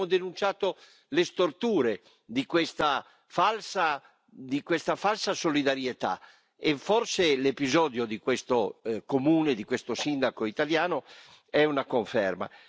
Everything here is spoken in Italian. Noi abbiamo denunciato le storture di questa falsa solidarietà e forse l'episodio di questo comune, di questo sindaco italiano è una conferma.